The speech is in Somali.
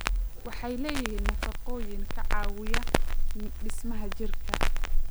Waxay leeyihiin nafaqooyin ka caawiya dhismaha jidhka.